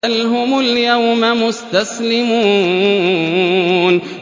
بَلْ هُمُ الْيَوْمَ مُسْتَسْلِمُونَ